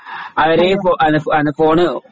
അവരെ